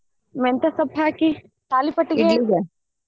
ಮೆಂತೆ ಸೊಪ್ಪ್ ಹಾಕಿ ತಾಲಿಪಟ್ಟಿಗೆ .